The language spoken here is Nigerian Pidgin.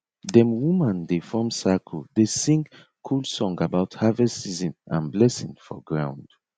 dem woman dey form circle dey sing cool song about harvest season and blessing for ground